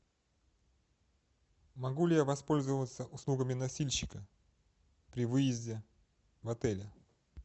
могу ли я воспользоваться услугами носильщика при выезде в отеле